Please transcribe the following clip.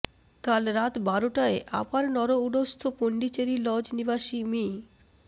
কাল রাত বারোটায় আপার নরউডস্থ পণ্ডিচেরি লজ নিবাসী মি